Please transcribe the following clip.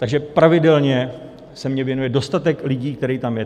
Takže pravidelně se mně věnuje dostatek lidí, kteří tam jsou.